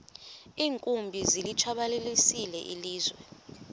iinkumbi zilitshabalalisile ilizwe